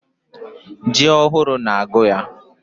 Ji ohụrụ na agụ yaa.